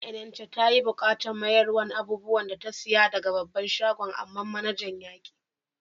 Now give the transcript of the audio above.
Malami Enenche ta yi bukatan mayarswan abubuwan da ta siya daga babban shagon, amma manajan ya ki.